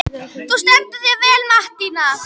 Þú stendur þig vel, Mattína!